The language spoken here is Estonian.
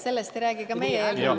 Sellest ei räägi ka meie eelnõu.